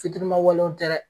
Fitirima walew tɛ dɛ.